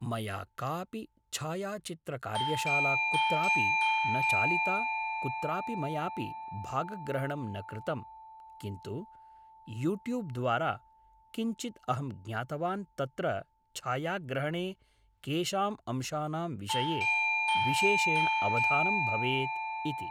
मया कापि छायाचित्रकार्यशाला कुत्रापि न चालिता कुत्रापि मयापि भागग्रहणं न कृतं किन्तु यूट्यूब् द्वारा किञ्चिद् अहं ज्ञातवान् तत्र छायाग्रहणे केषां अंशानां विषये विशेषेण अवधानं भवेत् इति